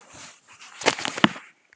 Þetta er oft sýnt sem